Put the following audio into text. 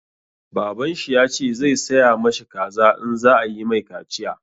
Baban shi ya ce zai saya ma shi kaza in za a yi mai kaciya.